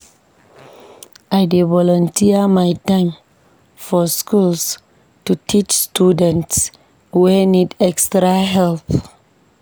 I dey volunteer my time for schools to teach students wey need extra help.